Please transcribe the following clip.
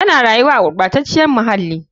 Tana rayuwa a gurɓacaciyar muhalli.